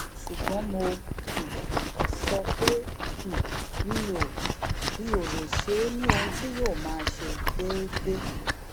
ṣùgbọn mo um sọ pé um mi ò mi ò lè ṣe é ní ohun tí yóò ma ṣe déédéé